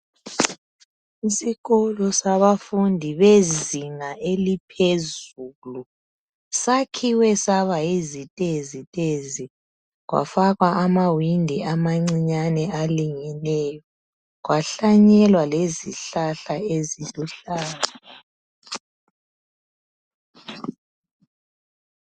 Isikolo sabafundi bezinga eliphezulu sakhiwe saba yizitezi tezi kwafakwa amawindi amancinyane alingeneyo kwahlanyelwa lezihlahla eziluhlaza.